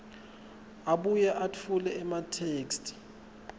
abuye etfule ematheksthi